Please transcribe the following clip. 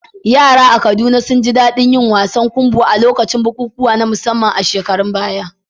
Yara a Kaduna sun ji daɗin yin wasan kumbo a lokacin bukukuwa na musamman a shekarun baya.